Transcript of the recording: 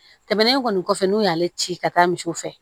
Tɛmɛnen kɔni kɔfɛ n'u y'ale ci ka taa misiw fɛ